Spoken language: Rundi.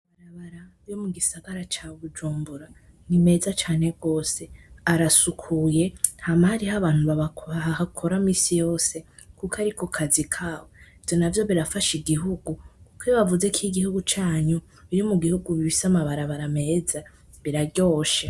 amabarabara yomugisgara ca bujumbura nimeza cane gose arasukuye hama hariho abantu bahakora minsi yose kuko ariko kazi kabo ivyo navyo birafasha igihugu kuko iyo bavuze ko igihugu canyu kiri mubihugu bifise amabarabara meza biraryoshe.